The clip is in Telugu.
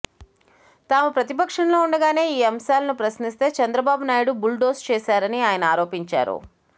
తాము ప్రతిపక్షంలో ఉండగానే ఈ అంశాలను ప్రశ్నిస్తే చంద్రబాబునాయుడు బుల్డోజ్ చేశారని ఆయన ఆరోపించారు